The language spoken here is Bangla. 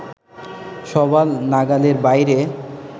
সবার নাগালের বাইরে